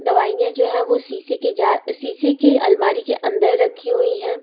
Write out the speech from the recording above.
दवाइयां जो हैं वह शीशे की जा शीशे की अलमारी के अंदर रखी हुई हैं।